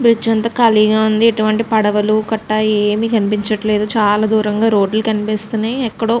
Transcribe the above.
Bridge అంతా ఖాళీగా ఉంది. ఇటువంటి పడవలు కట్ట ఏమీ కనిపించట్లేదు. చాలా దూరంగా రోడ్లు కనిపిస్తున్నాయి. ఎక్కడో --